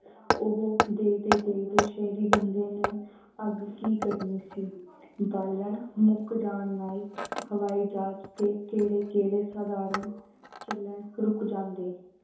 ਓਹੋ ਦੇਖਦੇ ਦੇਖਦੇ ਸ਼ੇਹਰੀ ਬੰਦੇ ਨੇ ਅਗ ਕੀ ਕਰਨੀ ਸੀ। ਬਾਲਣ ਮੁਕ ਜਾਨ ਨਾਲ ਹਵਾਈ ਜਹਾਜ਼ ਤੇ ਕੇੜੇ ਕੇੜੇ ਸਾਧਾਰਨ ਚੱਲਣ ਰੁਕ ਜਾਂਦੇ